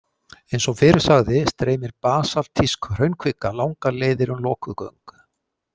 Eins og fyrr sagði streymir basaltísk hraunkvika langar leiðir um lokuð göng.